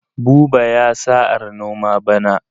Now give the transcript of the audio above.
Buba ya sa'ar noma bana.